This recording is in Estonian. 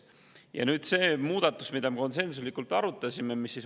Ja nüüd see muudatus, mida me konsensuslikult arutasime.